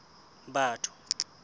batho